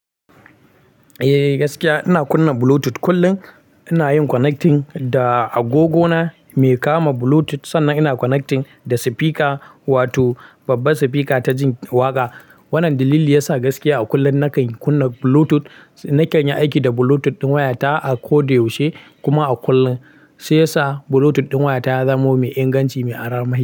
Eh gaskiya ina kunna Bluetooth kullum ina yin connecting da agogo na mai kama Bluetooth sannan ina connecting da speaker wato babbar speaker ta jin waƙa. Wannan dalili yasa gaskiya a kullum nakan kunna Bluetooth. Nakan yi aiki da Bluetooth ɗin wayata a ko da yaushe kuma a kullum. Shiyasa Bluetooth ɗin wayata ya zamo mai inganci mai armahi.